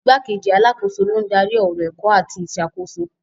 Igbákejì alákòóso ló ń darí ọ̀rọ̀ ẹ̀kọ́ àti ìṣàkóso.